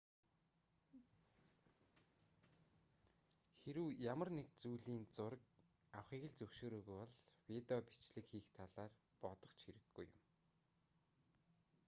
хэрэв ямар нэг зүйлийн зураг авахыг л зөвшөөрөөгүй бол видео бичлэг хийх талаар бодох ч хэрэггүй юм